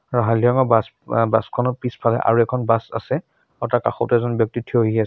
আৰু হালধীয়া ৰঙৰ বাছ বাছখনৰ পিছফালে আৰু এখন বাছ আছে তাৰ কাষতে এজন ব্যক্তি থিয় হৈ আছে।